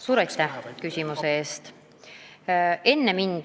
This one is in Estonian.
Suur aitäh küsimuse eest!